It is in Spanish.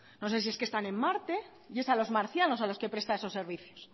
no sé si es que están en marte y es a los marcianos a los que presta esos servicios